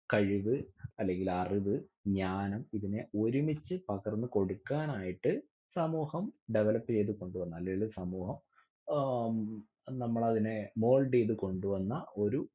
കഴിവ് അല്ലെങ്കില് അറിവ് ജ്ഞാനം ഇതിനെ ഒരുമിച്ച് പകർന്ന് കൊടുക്കാനായിട്ട് സമൂഹം develop ചെയ്ത് കൊണ്ടുവന്നാലെ സമൂഹം അഹ് നമ്മള് അതിനെ mould ചെയ്ത് കൊണ്ടുവന്ന ഒരു